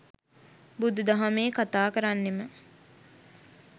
බුදු දහමේ කතාකරන්නෙම